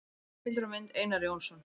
Heimildir og mynd: Einar Jónsson.